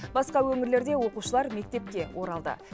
басқа өңірлерде оқушылар мектепке оралды